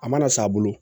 A mana san a bolo